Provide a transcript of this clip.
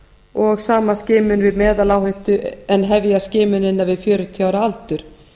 og sama skimun við meðaláhættu en hefja skimunina við fjörutíu ára aldur